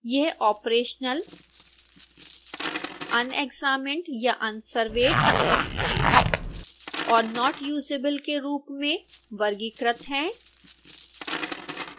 ये operational unexamined या unsurveyed और not usable के रूप में वर्गीकृत हैं